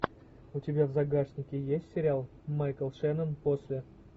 у тебя в загашнике есть сериал майкл шеннон после